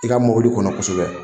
I ka mɔbili kɔnɔ kosɛbɛ